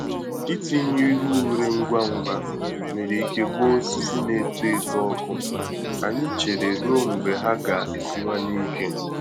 Itinye ihe ure ngwa ngwa nwere ike gbaa osisi na-eto eto ọkụ; anyị chere ruo mgbe ha ga-esiwanye ike.